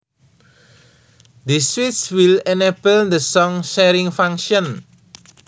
This switch will enable the song sharing function